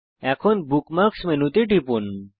এখন বুকমার্কস মেনুতে টিপুন